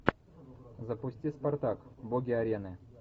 запусти спартак боги арены